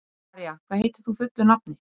María, hvað heitir þú fullu nafni?